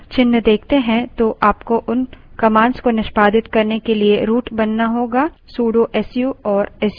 यदि आप terminal पर # हैशचिन्ह देखते हैं तो आपको उन commands को निष्पादित करने के लिए root बनाना होगा